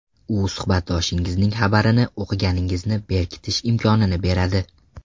U suhbatdoshingizning xabarini o‘qiganingizni berkitish imkonini beradi.